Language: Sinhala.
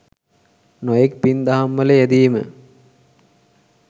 නොයෙක් පින් දහම් වල යෙදීම